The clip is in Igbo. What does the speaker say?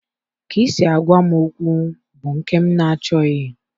Ka isi agawa m okwu bụ nke m nachọghị.